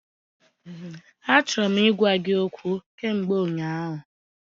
Achọrọ m ịgwa gị okwu kamgbe ụnyaahụ.